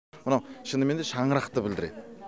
мынау шынымен де шаңырақты білдіреді